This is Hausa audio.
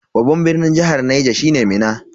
Babban birnin jihar Niger shine Minna.